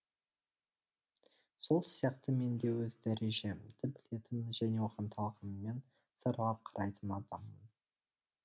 сол сияқты мен де өз дәрежемді білетін және оған талғаммен саралап қарайтын адаммын